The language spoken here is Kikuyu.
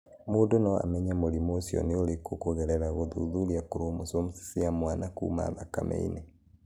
Mũndũ no amenye mũrimũ ũcio nĩ ũrĩkũ kũgerera gũthuthuria chromosomes cia mwana kuuma thakame-inĩ.